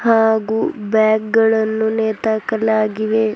ಹಾಗೂ ಬ್ಯಾಗ್ ಗಳನ್ನು ನೇತು ಹಾಕಲಾಗಿದೆ.